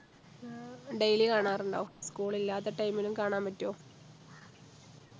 daily കാണാറുണ്ടോ school ഇല്ലാത്ത time ലും കാണാൻ പറ്റോ